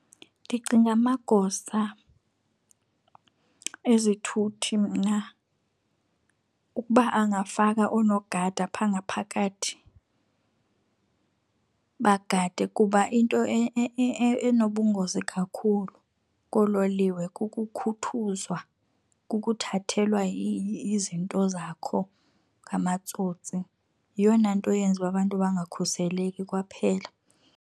Ndicinga amagosa ezithuthi mna ukuba angafaka oonogada pha ngaphakathi bagade, kuba into enobungozi kakhulu koololiwe kukukhuthuzwa, kukuthathelwa izinto zakho ngamatsotsi. Yiyona nto yenza ukuba abantu bangakhuseleki kwaphela.